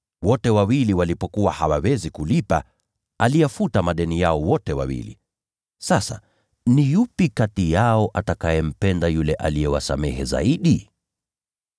Wote wawili walipokuwa hawawezi kulipa, aliyafuta madeni yao wote wawili. Sasa ni yupi kati yao atakayempenda yule aliyewasamehe zaidi?”